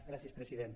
gràcies president